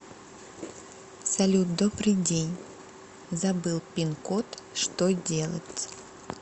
салют добрый день забыл пин код что делать